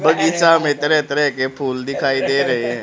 बगीचा में तरह तरह के फूल दिखाइ दे रहे हैं।